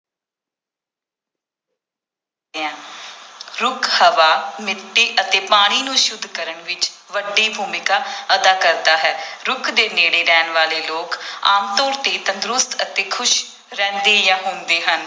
ਰੁੱਖ ਹਵਾ ਮਿੱਟੀ ਅਤੇ ਪਾਣੀ ਨੂੰ ਸੁੱਧ ਕਰਨ ਵਿੱਚ ਵੱਡੀ ਭੂਮਿਕਾ ਅਦਾ ਕਰਦਾ ਹੈ ਰੁੱਖ ਦੇ ਨੇੜੇ ਰਹਿਣ ਵਾਲੇ ਲੋਕ ਆਮ ਤੌਰ ਤੇ ਤੰਦਰੁਸਤ ਅਤੇ ਖ਼ੁਸ਼ ਰਹਿੰਦੇ ਜਾਂ ਹੁੰਦੇ ਹਨ।